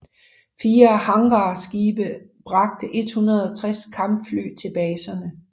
Fire hangarskibe bragte 160 kampfly til baserne